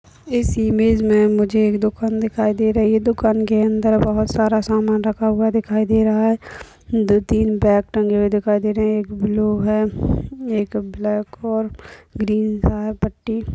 इस इमेज में मुझे एक दुकान दिखाई दे रही है दुकान के अंदर बहुत सारा सामान रखा हुवा दिखाई दे रहा है। दो तीन बैग टंगे हुए दिखाई दे रहे है एक ब्लू है एक ब्लैक और ग्रीन सा है पट्टी --